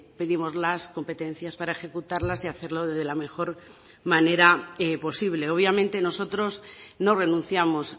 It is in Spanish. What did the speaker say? pedimos las competencias para ejecutarlas y hacerlo de la mejor manera posible obviamente nosotros no renunciamos